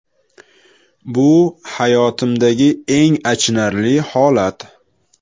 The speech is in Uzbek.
Bu hayotimdagi eng achinarli holat.